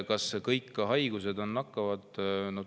Kas kõik haigused on nakkavad?